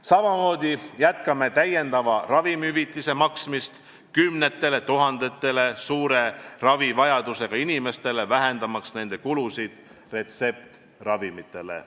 Samamoodi jätkame täiendava ravimihüvitise maksmist kümnetele tuhandetele suure ravivajadusega inimestele, vähendamaks nende kulusid retseptiravimitele.